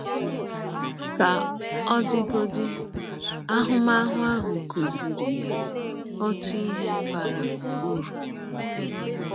Ka ọ dịgodị, ahụmahụ ahụ kụziiri ya ọtụ ihe bara ụrụ.